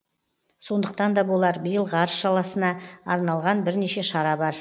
сондықтан да болар биыл ғарыш саласына арналған бірнеше шара бар